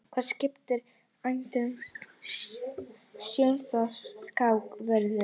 Skipun hæstaréttardómara í embætti er dæmi um stjórnvaldsákvörðun.